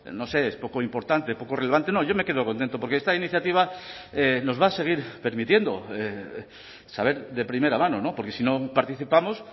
no sé es poco importante poco relevante no yo me quedo contento porque esta iniciativa nos va a seguir permitiendo saber de primera mano porque si no participamos